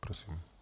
Prosím.